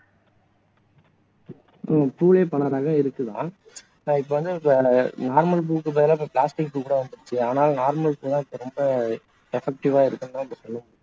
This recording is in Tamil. உம் பூவே நிறைய ரகங்கள் இருக்கு தான் அஹ் இப்போ வந்து normal பூவுக்கு பதிலா இப்போ plastic பூ வேற வந்துருச்சு ஆனா normal பூ தான் ரொம்ப effective ஆ இருக்கும்